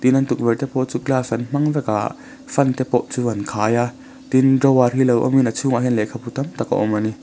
tin tukverh te pawh chu glass an hmang vek a fan te pawh an khai a tin drawer hi lo awmin a chhungah hian lehkhabu tam tak a awm bawk a ni.